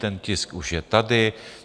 Ten tisk už je tady.